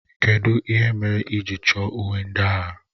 Kedụ ihe mere ị ji chọ uwe ndị agha?